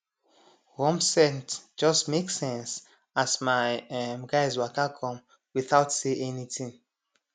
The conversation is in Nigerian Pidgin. warm scent just make sense as my um guys waka come without say anything